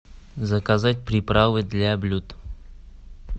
заказать приправы для блюд